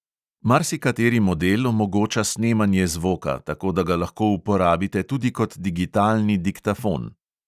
Marsikateri model omogoča snemanje zvoka, tako da ga lahko uporabite tudi kot digitalni diktafon.